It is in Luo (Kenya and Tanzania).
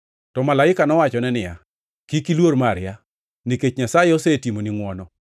To malaika nowachone niya, “Kik iluor Maria, nikech Nyasaye osetimoni ngʼwono.